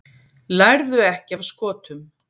Lærðu ekki af Skotum